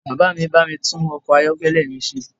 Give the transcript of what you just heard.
Bàbá mi bá mi tún ọkọ̀ ayọ́kẹ́lẹ̀ mi ṣe